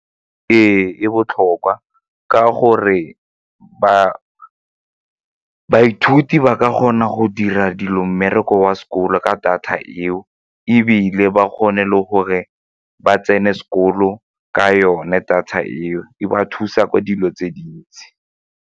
Ee, e botlhokwa ka gore baithuti ba ka kgona go dira dilo mmereko wa sekolo ka data eo ebile ba kgone le gore ba tsene sekolo ka yone data eo e ba thusa ka dilo tse dintsi.